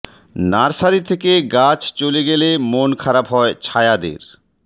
nursery থেকে গাছ চলে গেলে মন খারাপ হয় ছায়াদের